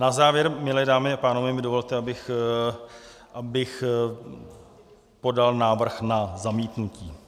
Na závěr, milé dámy a pánové, mi dovolte, abych podal návrh na zamítnutí.